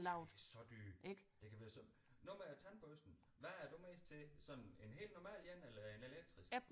Det kan være så dyrt det kan være så nu med tandbørsten hvad er du mest til sådan en helt normal en eller en elektrisk